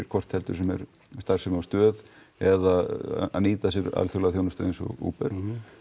hvort heldur sem er starfsemi á stöð eða að nýta sér alþjóðlega þjónustu eins og Uber